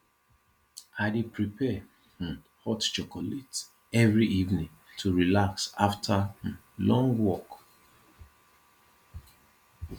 i dey prepare um hot chocolate every evening to relax after um long work